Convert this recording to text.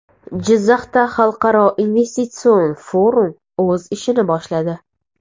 Jizzaxda xalqaro investitsion forum o‘z ishini boshladi.